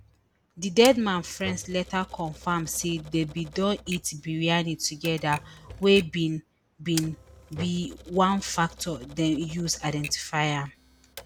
di dead man friends later confam say dem bin don eat biryani togeda wey bin bin be one factor dem use identify am